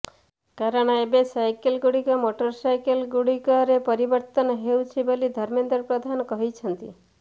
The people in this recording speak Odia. କାରଣ ଏବେ ସାଇକେଲ ଗୁଡିକ ମୋଟର ସାଇକେଲ ଗୁଡିକରେ ପରିବର୍ତ୍ତିତ ହେଉଛି ବୋଲି ଧର୍ମେନ୍ଦ୍ର ପ୍ରଧାନ କହିଛନ୍ତି